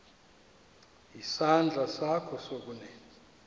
isandla sakho sokunene